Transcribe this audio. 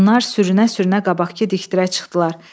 Onlar sürünə-sürünə qabaqdakı dikdirə çıxdılar.